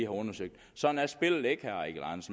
undersøgt sådan er spillet ikke